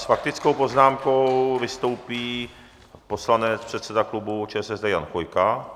S faktickou poznámkou vystoupí poslanec předseda klubu ČSSD Jan Chvojka.